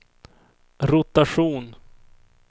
rotation